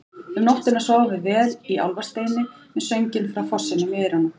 Um nóttina sváfum við vel í Álfasteini með sönginn frá fossinum í eyrunum.